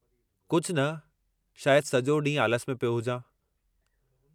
कुझु न, शायदि सॼो ॾींहुं आलिस में पियो हुजां।